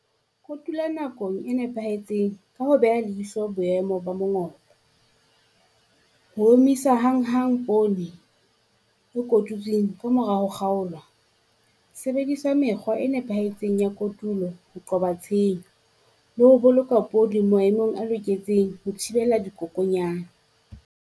Kotula nakong e nepahetseng ka ho beha leihlo boemo ba mongobo. Ho omisa hanghang poone e kotutswing kamorao ho kgaolwa. Sebedisa mekgwa e nepahetseng ya kotulo ho qoba tshenyo le ho boloka poone maemong a loketseng ho thibela dikokonyane.